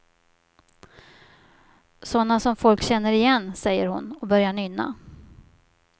Sådana som folk känner igen, säger hon och börjar nynna.